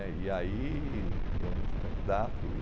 né, e aí eu não fui candidato e...